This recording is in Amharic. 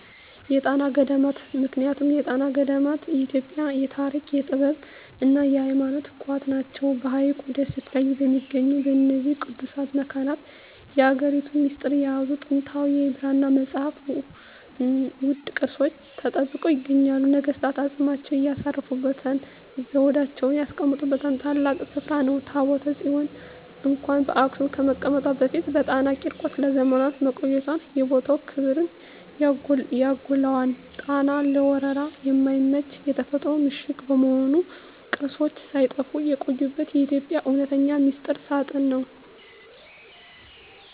የጣና ገዳማት ምክንያቱም የጣና ገዳማት የኢትዮጵያ የታሪክ፣ የጥበብና የሃይማኖት ቋት ናቸው። በሐይቁ ደሴቶች ላይ በሚገኙት በእነዚህ ቅዱሳት መካናት፣ የሀገሪቱን ሚስጥር የያዙ ጥንታዊ የብራና መጻሕፍትና ውድ ቅርሶች ተጠብቀው ይገኛሉ። ነገሥታት አፅማቸውን ያሳረፉበትና ዘውዳቸውን ያስቀመጡበት ታላቅ ስፍራ ነው። ታቦተ ጽዮን እንኳን በአክሱም ከመቀመጧ በፊት በጣና ቂርቆስ ለዘመናት መቆየቷ የቦታውን ክብር ያጎላዋል። ጣና ለወረራ የማይመች የተፈጥሮ ምሽግ በመሆኑ፣ ቅርሶች ሳይጠፉ የቆዩበት የኢትዮጵያ እውነተኛ ሚስጥር ሳጥን ነው።